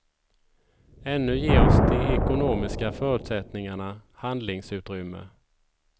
Ännu ger oss de ekonomiska förutsättningarna handlingsutrymme.